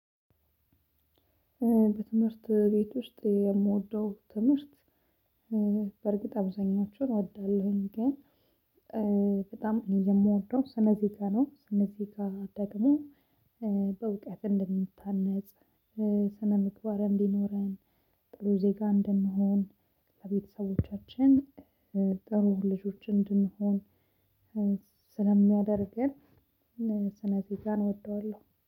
በትምህርት ቤት ውስጥ የምወደው ትምህርት በእርግጥ አብዛኞቹን እወዳለሁኝ ግን በጣም የምወደው ስነ ዜጋ ነው። ስነ ዜጋ ደግሞ በእውቀት እንደንታነጽ ስነ ምግባር እንዲኖረን ጥሩ ዜጋ እንድንሆን ለቤተሰቦቻችን ጥሩ ልጆች እንድንሆን ስለሚያደርገን ስነ ዜጋን እወደዋለሁ